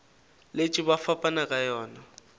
letše ba fapana ka yona